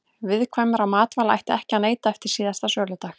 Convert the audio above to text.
Viðkvæmra matvæla ætti ekki að neyta eftir síðasta söludag.